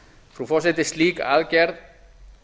frú forseti slík aðgerð